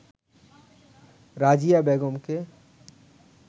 রাজিয়া বেগমকে